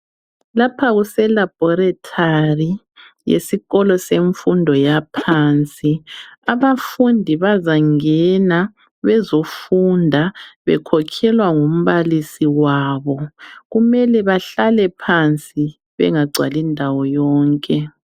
Lapha kuse laboratory yesikolo semfundo yaphansi abafundi bazangena bezofunda bekhokhelwa ngumbalisi wabo kumele behlale phansi bengagcwali indawo yonke.